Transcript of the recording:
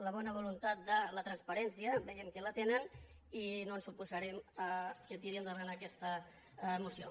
la bona voluntat de la transparència vegin qui la tenen i no ens oposarem que tiri endavant aquesta moció